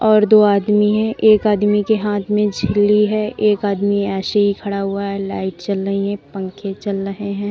और दो आदमी हैं एक आदमी के हाथ में छिली है एक आदमी ऐसे ही खड़ा हुआ है लाइट चल रही है पंखे चल रहे हैं।